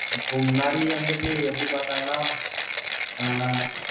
இப்ப முன்னாடி வந்துட்டு எப்படி பாத்தாங்கன்னா ஆஹ்